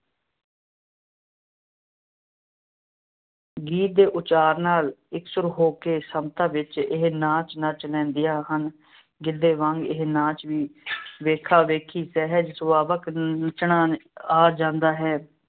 ਗੀਤ ਦੇ ਉਚਾਰ ਨਾਲ ਇਕਸੁਰ ਹੋ ਕੇ ਸਮਤਾ ਵਿੱਚ ਇਹ ਨਾਚ ਨੱਚ ਲੈਂਦੀਆਂ ਹਨ। ਗਿੱਧੇ ਵਾਂਗ ਇਹ ਨਾਚ ਵੀ ਵੇਖਾ-ਵੇਖੀ ਸਹਿਜ ਸੁਭਾਵਿਕ ਨੱਚਣਾ ਆ ਜਾਂਦਾ ਹੈ